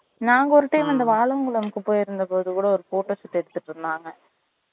நாங்க ஒரு time அந்த வாலாங்குளம்க்கு போய் இருந்தப்பபோது கூட ஒரு photo shoot எடுத்திட்டு இருந்தாங்க